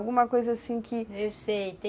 Alguma coisa, assim, que